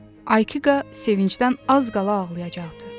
Aykikqa sevincdən az qala ağlayacaqdı.